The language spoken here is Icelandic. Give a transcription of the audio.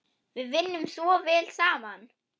Við vinnum svo vel saman.